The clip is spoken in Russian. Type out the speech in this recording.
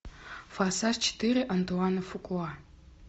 форсаж четыре антуана фукуа